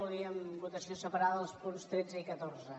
volíem votació separa·da dels punts tretze i catorze